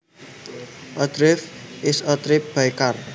A drive is a trip by car